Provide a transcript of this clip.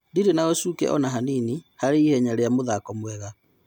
Ndirĩ na-ũshuke ona-hanini [Harĩ ihenya rĩa mũthako mwega]